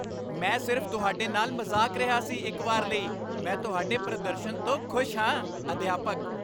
ਮੈਂ ਸਿਰਫ਼ ਤੁਹਾਡੇ ਨਾਲ ਮਜ਼ਾਕ ਰਿਹਾ ਸੀ ਇੱਕ ਵਾਰ ਲਈ, ਮੈਂ ਤੁਹਾਡੇ ਪ੍ਰਦਰਸ਼ਨ ਤੋਂ ਖੁਸ਼ ਹਾਂ ਅਧਿਆਪਕ